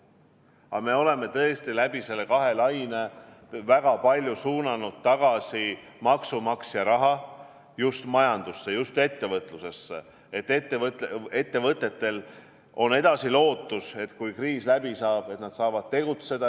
Aga me oleme tõesti nende kahe laine jooksul väga palju suunanud tagasi maksumaksja raha just majandusse, ettevõtlusesse, et ettevõtetel on lootus siis, kui kriis läbi saab, edasi tegutseda.